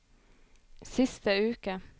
siste uke